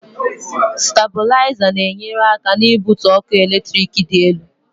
staibulizer na enyere aka n'ibutu ọkụ eletrik dị elu